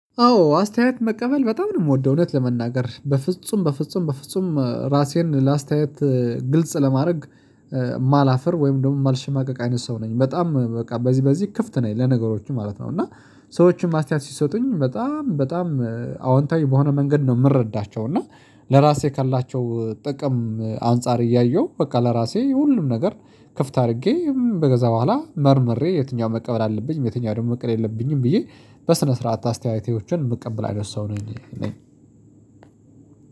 አዎ አስተያየት መቀበል በጣም ነው የምወደው እውነት ለመናገር በፍጹም በፍጹም በፍጹም ራሴን ለአስተያየት ግልጽ ለማድረግ ማላፍር ወይም ደግሞ ማልሽማቀቅ አይነት ሰው ነኝ በጣም በቃ በዚህ በዚህ ክፍት ነኝ ለነገሮችም ማለት ነው። እና ሰዎችም አስተያየት ሲሰጡኝ በጣም በጣም አዎንታዊ በሆነ መንገድ ነው። የምረዳቸው እና ለራሴ ካላቸው ጥቅም አንፃር እያየሁ በቃ ለራሴ ሁሉም ነገር ክፍት አድርጌ ከዚያ በህዋላ መርምሬ የትኛውን መቀበል አለብኝ? የትኛው ደግሞ መቀበል የለብኝም። ብዬ በስነ ስርዓት አስተያየቶችን ምቀበል አይነት ሰው ነኝ። እኔ